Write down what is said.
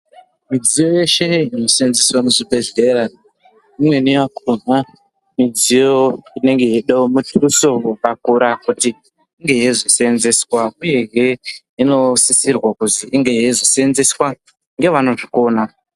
Midziyo yeshe inoseenzeswa muzvibhedhlera imweni yakona mudziyo inenge yeyidiwa mutuso wakakura kuti inge yeyizosenzeswa uyehe inosisirwa kuzi inge yeizosenzeswa ngevano zvikona.